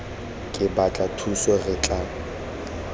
re batla thuso re tla